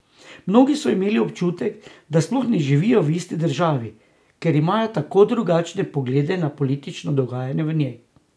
Mnogi so imeli občutek, da sploh ne živijo v isti državi, ker imajo tako drugačne poglede na politično dogajanje v njej.